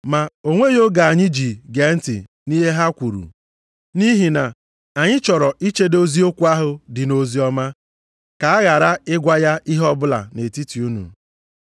Ma o nweghị oge anyị ji gee ntị nʼihe ha kwuru, nʼihi na anyị chọrọ ichedo eziokwu ahụ dị nʼoziọma ka a ghara ịgwa ya ihe ọbụla nʼetiti unu.